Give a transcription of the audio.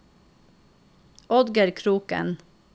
Oddgeir Kroken